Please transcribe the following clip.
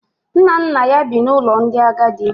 Nna nna ya bi n’ụlọ ndị agadi